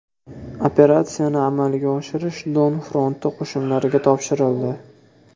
Operatsiyani amalga oshirish Don fronti qo‘shinlariga topshirildi.